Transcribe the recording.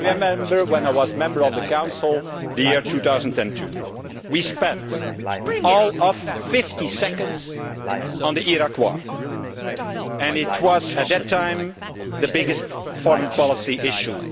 I remember when I was a member of the Council in 2002, we spent all of 50 seconds on the Iraq War, which was, at that time, the biggest foreign policy issue.